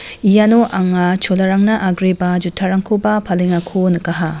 iano anga cholarangna agreba juttarangkoba palengako nikaha.